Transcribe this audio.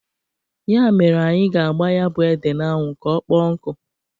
Ya mere anyị ga-agba ya bụ ede n'anwụ ka ọkpọọ nkụ.